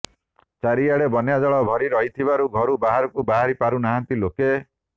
ଚାରିଆଡ଼େ ବନ୍ୟାଜଳ ଭରି ରହିଥିବାରୁ ଘରୁ ବାହାରକୁ ବାହାରି ପାରୁ ନାହାନ୍ତି ଲୋକେ